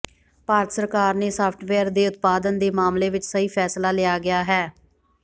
ਭਾਰਤ ਸਰਕਾਰ ਨੇ ਸਾਫਟਵੇਅਰ ਦੇ ਉਤਪਾਦਨ ਦੇ ਮਾਮਲੇ ਵਿਚ ਸਹੀ ਫ਼ੈਸਲਾ ਲਿਆ ਗਿਆ ਹੈ